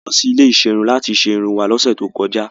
Àwa lọ sí ilé ìserun láti ṣe irun wá lọ́sẹ̀ tó kọjá.